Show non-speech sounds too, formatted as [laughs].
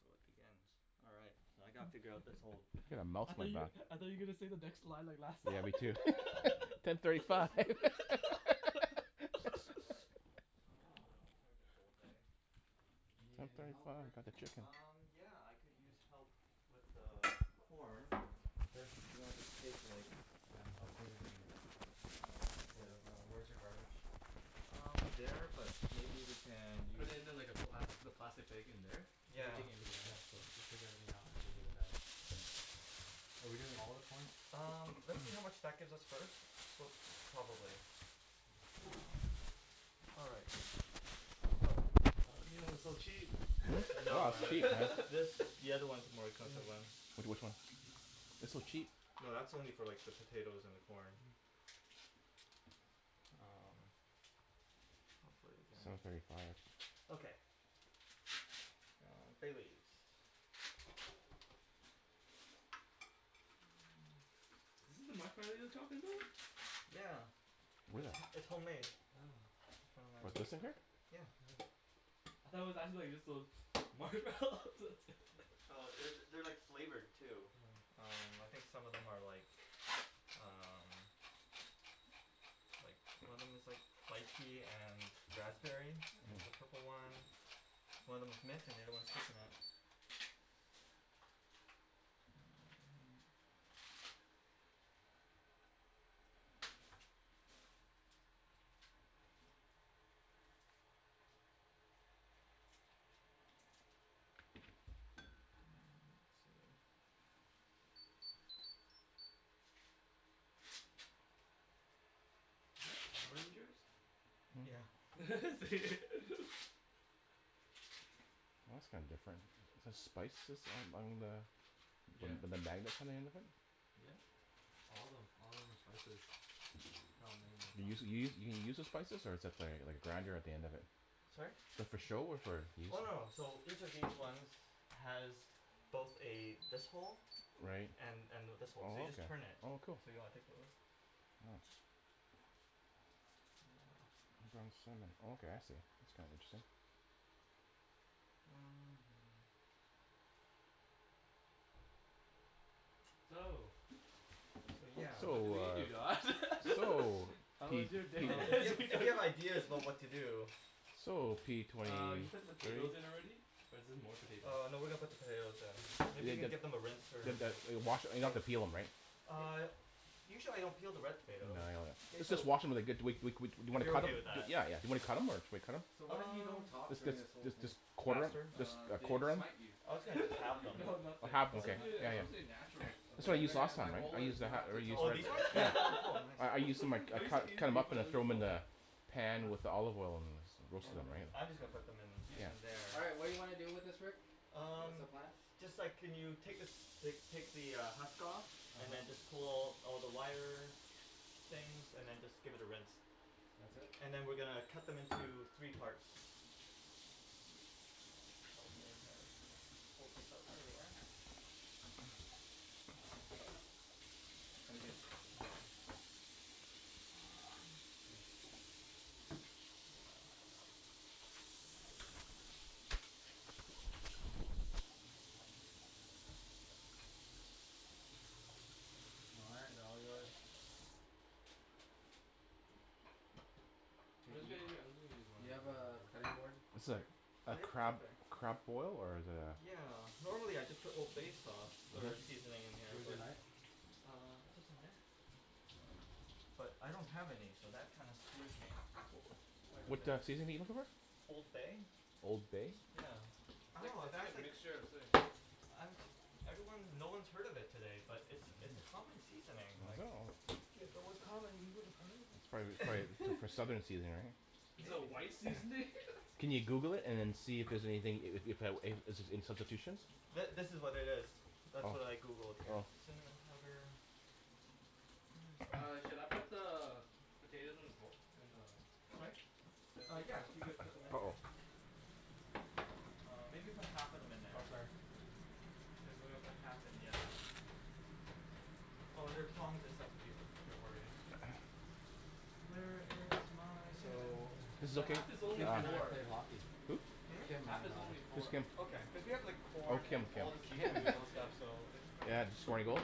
So it begins. Alright. So I gotta figure out this whole I gotta mouse [laughs] I thought on my you, seasoning back. I session. thought you were gonna say the next line or last Yeah line me too ten thirty five. [laughs] [laughs] All right. So if I am looking for an alternative to old bay. You [inaudible] need any help Rick? got the chicken. Um yeah I could use help with the corn Sure. and I'll just take like Yeah I'll clean it then. Yeah [noise] wh- where's your garbage? Um there, but maybe we can Put use it in like a black, the Yeah plastic bag in there? Cuz we're yeah. taking everything Yeah out so so just take everything out and give me the bag. Are we doing all of the corn? Um let's see how much that [noise] gives us first, but probably. All right so. Oh you know it's so cheap. [laughs] No man this- the other ones are more expensive ones. [noise] Like which one? They're so cheap. No that's only for like the potatoes and the corn. Um hopefully we can Seven thirty five Okay um bay leaves [noise] Is this the marshmallow you were talking about? Yeah Where? it's- it's homemade. [noise] Oh What, this in here? Yeah Hmm I thought it was actually just like those marshmallows [laughs] Oh that's it it- they're like flavored too. Um I Hmm think some of them are like um like one of them is like lychee and raspberry is the Hmm purple ones, one of them's mint and the other one is coconut. [noise] Um let's see Is that Power Ranger's? Yeah [laughs] is it? Oh that's kinda different. Is this spices on- on the Yeah with the magnets on the end of it? Yep all of them, all of them are spices. They're all You use magnets [inaudible] you you you use the spices or is th- that like a grinder at the end of it? Sorry? Is that for show or for use? Oh no so each of these ones has both a this hole Right and and this hole. So you just turn it. oh okay oh cool. Do you wanna take a look? Yeah Oh ground cinnamon [noise] oh okay I see. That's kinda interesting. [noise] So, So yeah so So I believe you Don. ah so [laughs] How Uh was p- your day? if p- you, if you [laughs] have ideas about what to do. So p twenty Uh you put the two potatoes in already, or is this more potatoes? Uh no we are going to put the potatoes [inaudible] in. Maybe you could give them a rinse or a Okay wash, we don't have scrub. to peel them right? Uh usually I don't peel the red No, potato. yeah I know that. K Let's so just wash em and they're good we- we- we- we If cu- you're okay with , yeah that. Yeah yeah yeah and then cut em or do we cut em? So Should we what cut if we don't Um talk them? during this whole let's jus- thing? just quarter them, faster? jus- Uh just they quarter them? smite you. I was [laughs] gonna just halve them no or nothing half it's but okay suppose- you yeah it's know yeah supposed to be Nothing? natural. that's what I Okay used then I- last my time right? I goal used is the ha- not or to used Oh talk. these ones? the Oh cool, [laughs] nice I- I [laughs] used to cu- cut them up and throw them in [inaudible] the pan with the olive oil and Okay roasted them right. I'm just gonna put them Yeah in- in there. [noise] All right what do you wanna do with this Rick? What's Um, the plan? just a sec can you take like take the husk off and then just uh-huh pull all the wire things and then just give it a rinse That's it? and then we are going to cut them into three parts. And I'll just probably [inaudible] Now we gotta cut them here. Um All right they're all yours. Hey do you, do you have a cutting board? [inaudible] I'm sorry a Ah yep, it's crab, right there. crab boil or is it a? Yeah, normally I just put old bay sauce or seasoning in here Where's your but knife? Uh just in here I don't have any so that kinda screws me, quite a What bit. a seasoning are you looking for? Old bay Old bay? yeah It's like- oh it's like a that's like, mixture of something. I'm jus- everyone- no one has heard of it today, but it's it's a common seasoning I like know Yeah if it was common we woulda heard of Prob- prolly for it. [laughs] southern [laughs] seasoning Is right it a maybe white seasoning? [laughs] Can you Google it and then see if- if there's anything, if- if there's any substitutions? Th- this is what it is. That's what I Oh Googled here. oh Cinnamon powder Where is my? All right, should I [noise] put the potatoes in the bo- in the Sorry? [noise] Uh yeah if you could put them in uh here. oh Uh maybe put half of them in there Oh sorry cuz then we'll put half in the other one. Oh there are tongs and stuff if you if you're worried. [noise] Where is my cinnamon? So Just a The second half is only Kim yeah and I four, pay hockey Hmm? Hmm? Kim half and is only I Which four. Kim? Okay cuz we have like oh corn Kim and all the Kim Kim seafood Yeah and okay stuff so it's quite a Yeah did she score any goals?